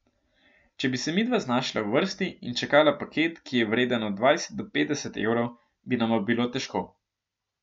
Če bi se midva znašla v vrsti in čakala paket, ki je vreden od dvajset do petdeset evrov, bi nama bilo težko.